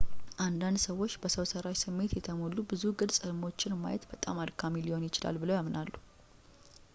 አንዳንድ ሰዎች በሰው ሠራሽ ስሜት የተሞሉ ብዙ ግልጽ ሕልሞችን ማየት በጣም አድካሚ ሊሆን ይችላል ብለው ያምናሉ